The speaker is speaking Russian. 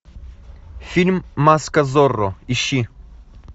фильм маска зорро ищи